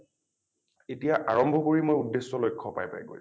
এতিয়া আৰম্ভ কৰি মই উদ্দেশ্য লক্ষ্য পায় পায় গৈ আছোঁ